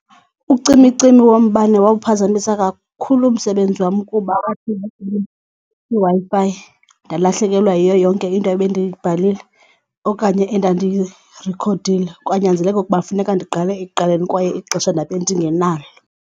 Ucimicimi wombane wawuphazamisa kakhulu umsebenzi wam kuba kwiWi-Fi ndalahlekelwa yiyo yonke into ebendiyibhalile okanye endandiyirikhodile, kwanyanzeleka ukuba funeka ndiqale ekuqaleni kwaye ixesha ndabe ndingenalo.